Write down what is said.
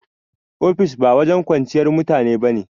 Ofis ba wajen kwanciyar mutane ba ne